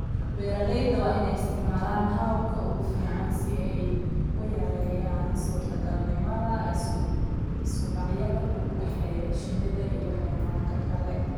Beeralayda waa in ay isticmaalaan hababka ugu fiican si ay u yareeyaan suurtagalnimada isku dhacyada u dhexeeya shinida iyo xayawaanka kale.